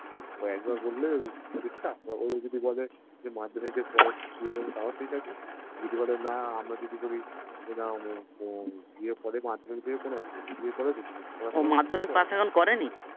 একবার বললে পরীক্ষা এবার ও যদি বলে যে মাধ্যমিক এর পরে বিয়ে করবো তাও ঠিকাছে যদি বলে না আমরা যদি বলি বিয়ের পরে মাধ্যমিক দেবে কোনো বেপার নেই বিয়ের পরও দিতে পারিস ও মাধ্যমিক পাশ এখন করেনি